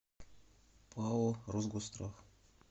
пао росгосстрах